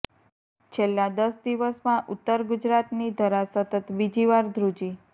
છેલ્લા દસ દિવસમાં ઉત્તર ગુજરાતની ધરા સતત બીજીવાર ધ્રુજી